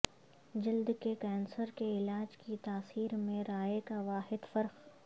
جلد کے کینسر کے علاج کی تاثیر میں رائے کا واحد فرق